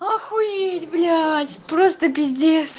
охуеть блять просто пиздец